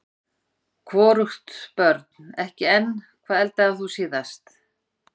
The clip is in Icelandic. hvorugt Börn: ekki enn Hvað eldaðir þú síðast?